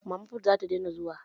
Mama fut zata daina zuwa